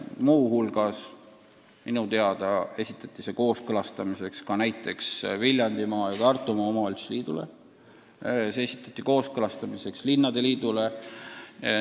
Muu hulgas esitati see minu teada kooskõlastamiseks ka Viljandimaa ja Tartumaa omavalitsuste liidule, samuti linnade liidule.